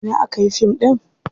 A ina aka yi fim ɗin?